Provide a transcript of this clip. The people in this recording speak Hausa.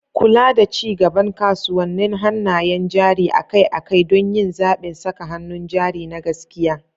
Kula da ci gaban kasuwannin hannayen jari akai-akai don yin zaɓin saka hannun jari na gaskiya.